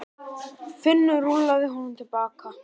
Finnur rúllaði honum til baka.